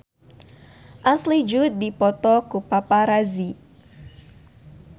Ashley Judd dipoto ku paparazi